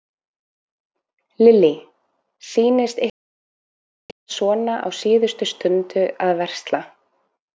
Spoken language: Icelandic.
Lillý: Sýnist ykkur margir vera svona á síðustu stundu að versla?